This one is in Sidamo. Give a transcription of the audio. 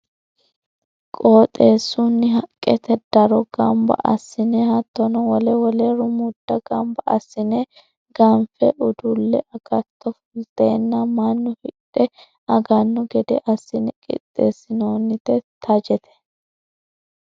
Qoxeesunni haqqete daro gamba assine hattono wole wole rumuda gamba assine ganfe uduule agatto fultenna mannu hidhe agano gede assine qixeesinonite xajete.